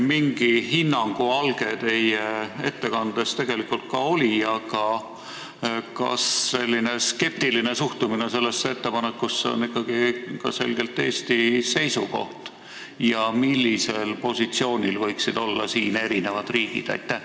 Mingi hinnangu alge teie ettekandes tegelikult ka oli, aga kas säärane skeptiline suhtumine nendesse ettepanekutesse on selgelt Eesti seisukoht ja mis positsioonil võiksid olla teised riigid?